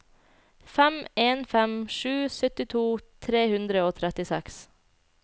fem en fem sju syttito tre hundre og trettiseks